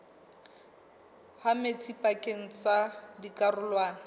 ha metsi pakeng tsa dikarolwana